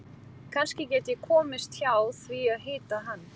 Kannski get ég komist hjá því að hitta hann.